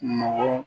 Nɔgɔ